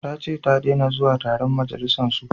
Ta ce ta dena zuwa taron majalisan su